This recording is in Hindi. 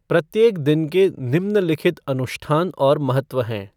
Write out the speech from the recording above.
प्रत्येक दिन के निम्नलिखित अनुष्ठान और महत्व हैं